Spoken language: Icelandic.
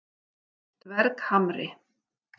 Dverghamri